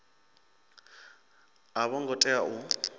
a vho ngo tea u